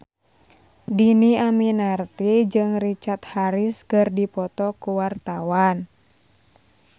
Dhini Aminarti jeung Richard Harris keur dipoto ku wartawan